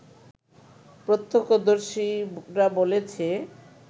প্রত্যক্ষদর্শীরা বলেছে